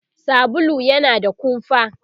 sabulu yana da kumfa